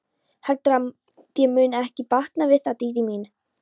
Heldurðu að þér muni ekki batna við það, Dídí mín?